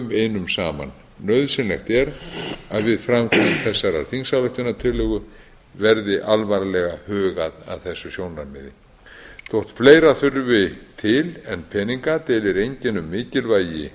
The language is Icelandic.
einum saman nauðsynlegt er að við framkvæmd þessarar þingsályktunartillögu verði alvarlega hugað að þessu sjónarmiði þótt fleira þurfi til en peninga deilir enginn um mikilvægi